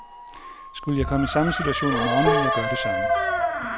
Skulle jeg komme i samme situation i morgen, ville jeg gøre det samme.